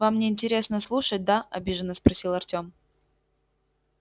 вам не интересно слушать да обиженно спросил артём